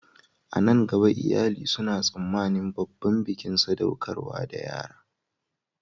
A nan gaba, iyali suna tsammanin babban bikin sadaukar da yara